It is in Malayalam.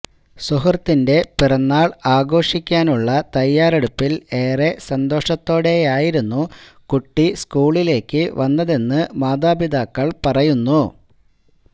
സുഹൃത്തിന്റെ പിറന്നാള് ആഘോക്കാനുള്ള തയ്യാറെടുപ്പില് ഏറെ സന്തോഷത്തോടെയായിരുന്നു കുട്ടി സ്കൂളിലേക്ക് വന്നതെന്ന് മാതാപിതാക്കള് പറയുന്നു